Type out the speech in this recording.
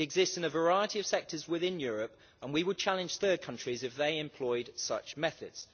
It exists in a variety of sectors within Europe, and we would challenge third countries if they employed such methods.